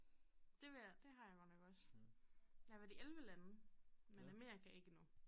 Det vil jeg det har jeg godt nok også jeg været i 11 lande men Amerika ikke endnu